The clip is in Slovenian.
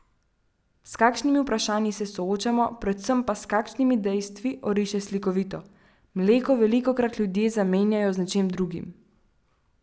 S kakšnimi vprašanji se soočamo, predvsem pa s kakšnimi dejstvi, oriše slikovito: "Mleko velikokrat ljudje zamenjujejo z nečim drugim.